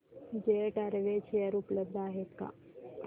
jet Airways share उपलब्ध आहेत का